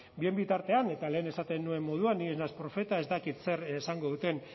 bien bitartean eta lehen esaten nuen moduan ni ez naiz profeta ez dakit zer esango duten